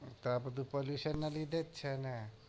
તો આ બધું position ના લીધે છે ને